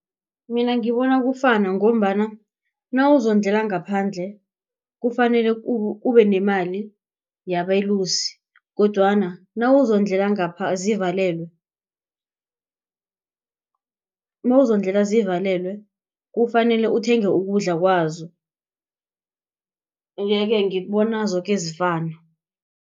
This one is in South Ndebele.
Mina ngibona kufana ngombana nawuzondlela ngaphandle kufanele ubenemali yabeluse kodwana nawuzondlela ngapha zivalelwe nawuzondlela zivalelwe kufanele uthenge ukudla kwazo yeke ngibona zoke zifana.